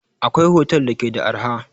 Akwai otel da ke da arha